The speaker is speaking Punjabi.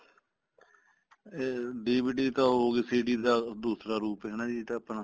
ਇਹ DVD ਤਾਂ ਉਹ ਹੋਗੀ CD ਦਾ ਦੂਸਰਾ ਰੂਪ ਹਨਾ ਜੀ ਇਹ ਤਾਂ ਆਪਣਾ